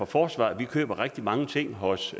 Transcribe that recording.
forsvaret vi køber rigtig mange ting hos